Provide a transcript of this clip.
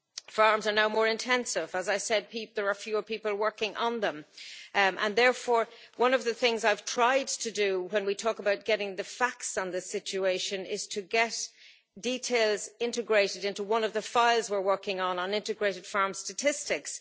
Farms are now more intensive, there are fewer people working on them, and therefore one of the things I've tried to do when we talk about getting the facts on this situation is to get details into one of the files we're working on integrated farm statistics.